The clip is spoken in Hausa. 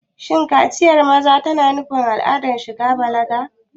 Shin kaciyar maza tana nufin al'adar shiga balaga?